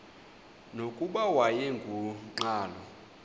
nokuba wayengu nqal